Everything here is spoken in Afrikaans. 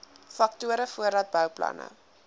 faktore voordat bouplanne